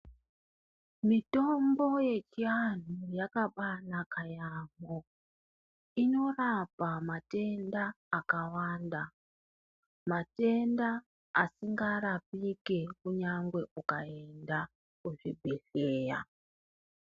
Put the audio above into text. Mitombo yechi anhu yakabai naka yamho inorapa matenda akawanda matenda asinga rapike kunyange ukaenda kuzvi bhedhleya.